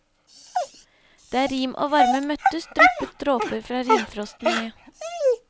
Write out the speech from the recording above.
Der rim og varme møttes, dryppet dråper fra rimfrosten ned.